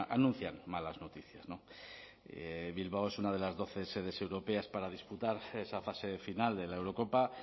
anuncian malas noticias no bilbao es una de las doce sedes europeas para disputar esa fase final de la eurocopa